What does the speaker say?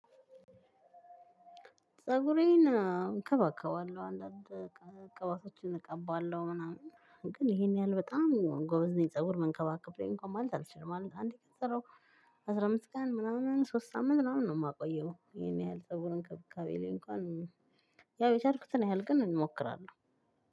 ፀጉሬን እከባከባለሁ አንዳንድ ቅባቶችን እቀባለሁ ምናምን ግን ይሄን ያህል በጣም ጎበዝ ነኝ ፀጉር መንከባከብ እንኳን ማለት አልችልም። ማለት አንዴ ከተሰራው አስራ አምስት ቀን ምናምን ሶስት ሳምንት ምናምን ነው የማቆየው። ይሄን ያህል ፀጉር እንከብካቤ ላይ እንኳን ያው የቻልኩትን ያህል ግን እሞክራለሁ።